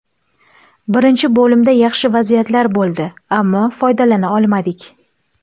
Birinchi bo‘limda yaxshi vaziyatlar bo‘ldi, ammo foydalana olmadik.